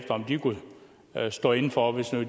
om de kunne stå inde for